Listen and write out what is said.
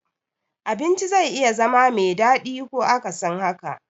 Abinci zai iya zama me daɗi ko akasin haka.